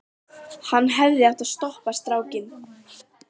Hann hefði átt að stoppa strákinn.